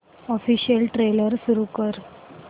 official trailer सुरू कर